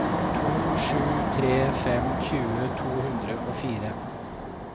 to sju tre fem tjue to hundre og fire